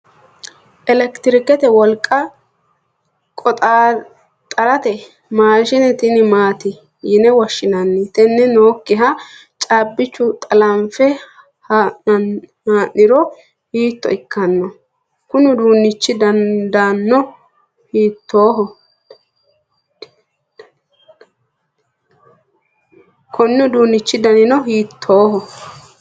elekitirikete wolqa qoxaaxartanno maashine tenne maati yine woshshinanni? tini nookkiha caabbicho xalanfe haa'niro hiitto ikkanno? konni uduunnichi danino hiittooho ?